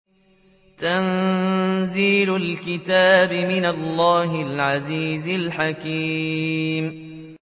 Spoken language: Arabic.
تَنزِيلُ الْكِتَابِ مِنَ اللَّهِ الْعَزِيزِ الْحَكِيمِ